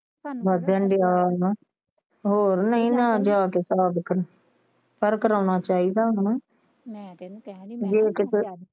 ਵਧਣ ਦਿਆ ਵਾ ਹੋਰ ਨਹੀਂ ਨਾ ਜਾ ਕੇ ਪਹਿਲਾ ਵੇਖਣ ਪਰ ਕਰਾਉਣਾ ਚਾਹੀਦਾ ਹੈਨਾ